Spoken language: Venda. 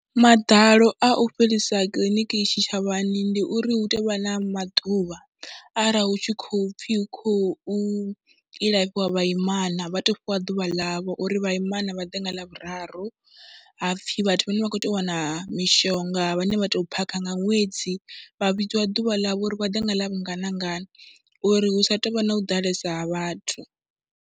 Maḓalo a u fhelisa kiḽiniki tshitshavhani ndi uri hu tea u vha na maḓuvha arali hu tshi khou pfhi hu khou ilafhiwa vhaimana, vha tou fhiwa ḓuvha ḽavho uri vhaimana vha ḓe nga ḽavhuraru, ha pfhi vhathu vhane vha khou tea u wana mishonga vhane vha tou phakha nga ṅwedzi vha vhudziwa ḓuvha ḽavho uri vha ḓe nga ḽavhungana ngana uri hu sa tou vha no ḓalesa ha vhathu.